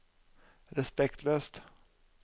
respektløst